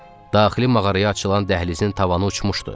Daxili mağaraya açılan dəhlizin tavanı uçmuşdu.